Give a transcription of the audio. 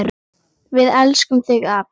Við elskum þig, afi.